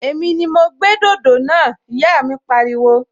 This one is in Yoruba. Èmi ni mo gbé dòdò náà! Ìyá mi pariwo